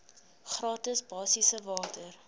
gratis basiese water